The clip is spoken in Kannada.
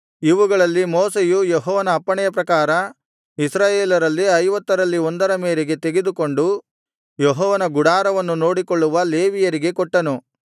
ಇವುಗಳಲ್ಲಿ ಮೋಶೆಯು ಯೆಹೋವನ ಅಪ್ಪಣೆಯ ಪ್ರಕಾರ ಇಸ್ರಾಯೇಲರಲ್ಲಿ ಐವತ್ತರಲ್ಲಿ ಒಂದರ ಮೇರೆಗೆ ತೆಗೆದುಕೊಂಡು ಯೆಹೋವನ ಗುಡಾರವನ್ನು ನೋಡಿಕೊಳ್ಳುವ ಲೇವಿಯರಿಗೆ ಕೊಟ್ಟನು